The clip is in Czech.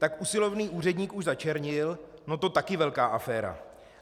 Tak usilovný úředník už začernil, no to taky velká aféra.